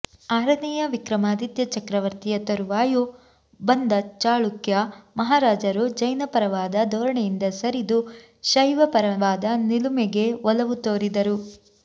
ಆರನೆಯ ವಿಕ್ರಮಾದಿತ್ಯ ಚಕ್ರವರ್ತಿಯ ತರುವಾಯ ಬಂದ ಚಾಳುಕ್ಯ ಮಹಾರಾಜರು ಜೈನಪರವಾದ ಧೋರಣೆಯಿಂದ ಸರಿದು ಶೈವಪರವಾದ ನಿಲುಮೆಗೆ ಒಲವು ತೊರಿದರು